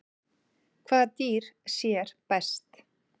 Hvaða dýr sér best?